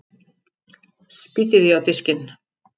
Spýti því á diskinn.